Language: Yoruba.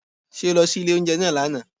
Ṣé o lọ sí ilé oúnjẹ náà lówù?